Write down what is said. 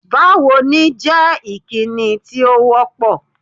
Báwo ni jẹ́ ìkíni tí ó wọ́ pọ̀.